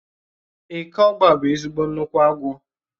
Eke ọ́gba bụ ezigbo nnukwu agwọ